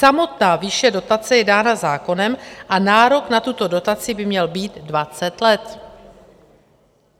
Samotná výše dotace je dána zákonem a nárok na tuto dotaci by měl být 20 let.